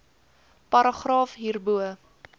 paragraaf hierbo